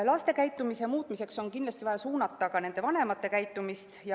Laste käitumise muutmiseks on kindlasti vaja suunata ka nende vanemate käitumist.